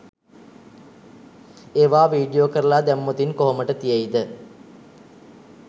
ඒවා වීඩියෝ කරලා දැම්මොතින් කොහොමට තියෙයිද?